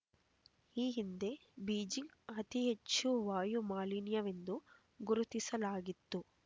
ಈ ಹಿಂದೆ ಬೀಜಿಂಗ್‌ ಅತಿ ಹೆಚ್ಚು ವಾಯು ಮಾಲಿನ್ಯವೆಂದು ಗುರುತಿಸಲಾಗಿತ್ತು